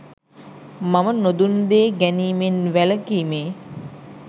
මම නොදුන් දේ ගැනීමෙන් වැළකීමේ